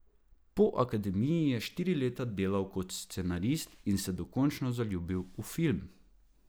Po akademiji je štiri leta delal kot scenarist in se dokončno zaljubil v film.